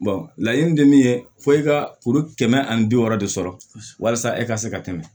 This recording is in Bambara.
laɲini tɛ min ye fo e ka kuru kɛmɛ ani bi wɔɔrɔ de sɔrɔ walasa e ka se ka tɛmɛ